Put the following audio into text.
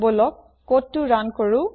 বলক কোডটো ৰুণ কৰো